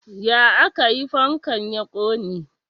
Ya aka yi fankan ya ƙone?